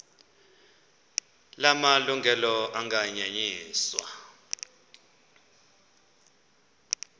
la malungelo anganyenyiswa